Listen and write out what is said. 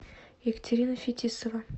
екатерина фетисова